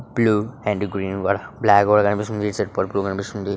Blue and green black కూడా కనిపిస్తుంది ఇటు సైడ్ పర్పుల్ కనిపిస్తుంది.